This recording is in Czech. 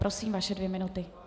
Prosím, vaše dvě minuty.